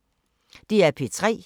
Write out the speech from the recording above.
DR P3